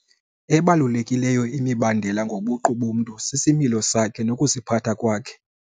Ebalulekileyo imibandela ngobuqu bomntu sisimilo sakhe nokuziphatha kwakhe.